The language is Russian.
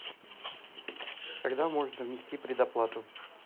когда можно внести предоплату